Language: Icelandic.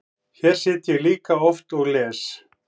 Hér sit ég líka oft og les.